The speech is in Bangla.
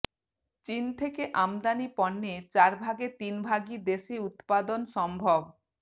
চিন থেকে আমদানি পণ্যের চার ভাগের তিনভাগই দেশে উৎপাদন সম্ভব